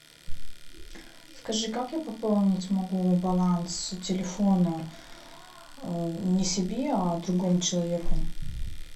скажи как я пополнить могу баланс телефона не себе а другому человеку